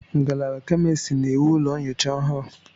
Ngalaba Chemistry na-ewu ụlọ nyocha ọhụrụ.